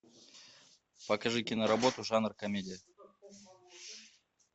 покажи киноработу жанр комедия